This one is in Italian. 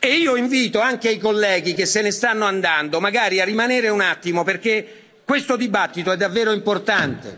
Io invito anche i colleghi che se ne stanno andando magari a rimanere un attimo perché questo dibattito è davvero importante.